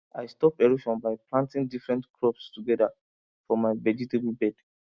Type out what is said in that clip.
i stop erosion by planting different crops together for my vegetable bed